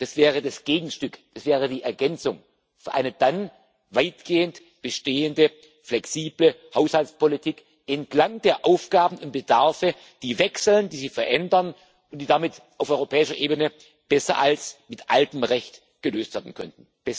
Das wäre das Gegenstück, das wäre die Ergänzung für eine dann weitgehend bestehende flexible Haushaltspolitik entlang der Aufgaben im Bedarfe, die wechseln, die sich verändern und die damit auf europäischer Ebene besser als mit altem Recht gelöst werden könnten.